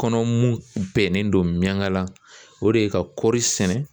Kɔnɔ mun bɛnnen don mɛngala o de ye ka kɔri sɛnɛ